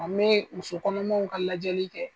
Wa n bɛ muso kɔnɔmaw ka lajɛli kɛ.